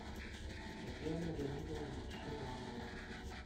татьяна леонидовна шибанова